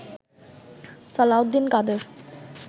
Salauddin Quader